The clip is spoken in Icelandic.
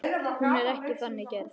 Hún er ekki þannig gerð.